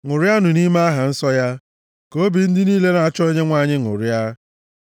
Ṅụrianụ nʼime aha nsọ ya; ka obi ndị niile na-achọ Onyenwe anyị ṅụrịa.